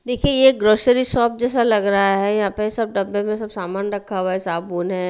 देखिए यह grocery shop जैसा लग रहा है यहां पे सब डब्बे में सब सामान रखा हुआ है साबून है।